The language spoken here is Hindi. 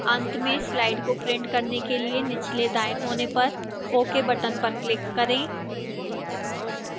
अंत में slides को print करने के लिए निचले दाएं कोने पर ok button पर click करें